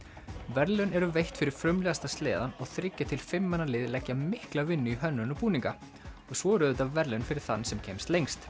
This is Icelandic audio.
verðlaun eru veitt fyrir frumlegasta sleðann og þriggja til fimm manna lið leggja mikla vinnu í hönnun og búninga og svo eru auðvitað verðlaun fyrir þann sem kemst lengst